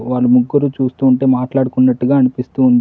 వాళ్ళు ముగ్గురూ చూస్తూ ఉంటే మాట్లాడుకున్నట్టుగా అనిపిస్తూ ఉంది.